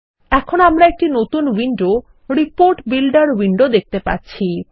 এখন আমরা একটি নতুন উইন্ডো রিপোর্ট Builderউইন্ডো দেখতে পাচ্ছি